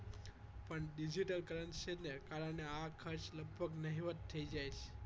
પણ digital currency ને કારણે આ ખર્ચ લગભગ નહિવત થઈ જાય છે